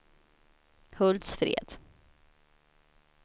Hultsfred